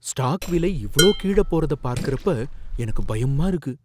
Stock விலை இவ்ளோ கீழ போறத பார்க்கறப்ப எனக்கு பயமா இருக்கு.